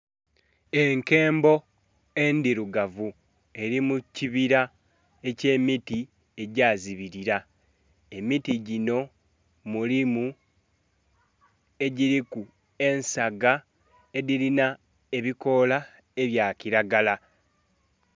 Enkembo endhirugavu eri mu kibira ekye miti egya zibilila, emiti ginho mulimu egiliku ensaga edhilina ebikoola ebya kilagala.